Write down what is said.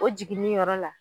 O jiginin yɔrɔ la.